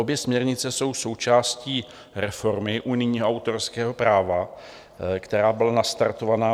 Obě směrnice jsou součástí reformy unijního autorského práva, která byla nastartovaná.